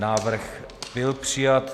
Návrh byl přijat.